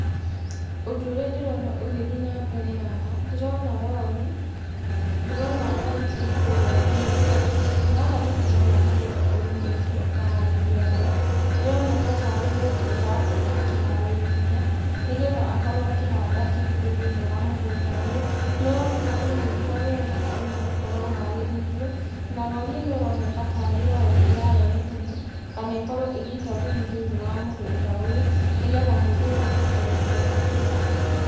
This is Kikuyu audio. Ũndũ ũrĩa ndĩrona ũgĩthiĩ na mbere haha, ndĩrona rori, ndĩrona rori ĩ kũrĩa ĩgĩũka, na haha nĩ ndĩrona mũgũnda ũrĩmĩmtwo ũkaharĩrio wega, nĩ ũroneka ta arĩ mũndũ ũrakorwo akĩharĩria nĩgetha akorwo akĩhanda kĩndũ thĩinĩ wa mũgũnda ũyũ, nĩ ũroneka ũrĩmĩtwo wega ona ũgakorwo ũharĩrĩirio na rori ĩno ĩroneka tarĩ rori ĩrarehe thumu, kana ĩkorwo ĩgĩita thumu thĩinĩ wa mũgũnda ũyũ, nĩgetha mũndũ ũyũ ahote gũkorwo akĩhanda.